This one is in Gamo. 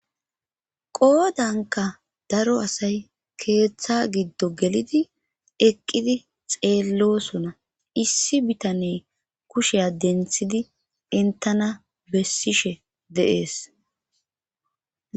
qoodanka daro asay keeththa giddo gelidi eqqidi xeellosona issi bitaney kushea denthidi entana bessishe deees